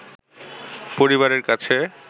পরিবারের কাছে